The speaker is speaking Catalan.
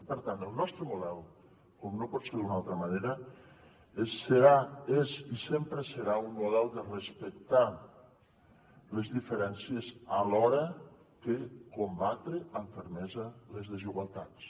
i per tant el nostre model com no pot ser d’una altra manera serà és i sempre serà un model de respectar les diferències alhora que combatre amb fermesa les desigualtats